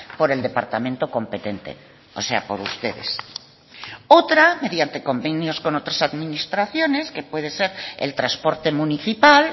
por el departamento competente o sea por ustedes otra mediante convenios con otras administraciones que puede ser el transporte municipal